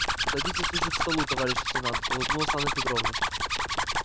садитесь лучше к столу товарищ лейтенант улыбнулась анна петровна